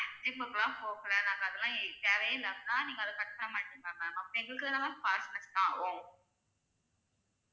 Gym க்குலாம் போகல நாங்க அதெல்லாம் தேவையே இல்ல அப்படினா நீங்க அத cut பண்ண மாட்டீங்களா ma'am அப்ப எங்களுக்கு தான ma'am காசு waste ஆகும்.